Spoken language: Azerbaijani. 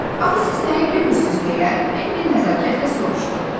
"Axı siz nəyə gülürsüz?" deyə Bembi nəzakətlə soruşdu.